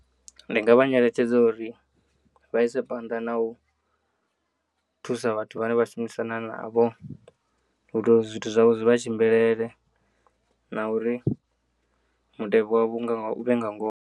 Ndi ngavha nyeletshedza uri vhaise phanḓa na u thusa vhathu vhane vhashumisana navho uito zwithu zwavho zwivhatshimbilele nauri mutevhe wavho uvhe ngangona.